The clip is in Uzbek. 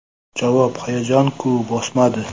Javob: Hayajon-ku bosmadi.